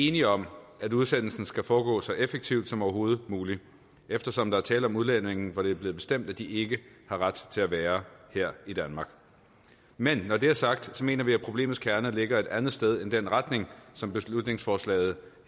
enige om at udsendelsen skal foregå så effektivt som overhovedet muligt eftersom der er tale om udlændinge hvor det er blevet bestemt at de ikke har ret til at være her i danmark men når det er sagt mener vi at problemets kerne ligger et andet sted end den retning som beslutningsforslaget